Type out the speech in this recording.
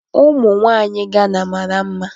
Ụmụ nwanyị Gana mara mma.